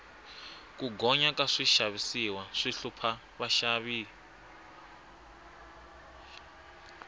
ku gonya ka swixavisiwa swi hlupha vaxavi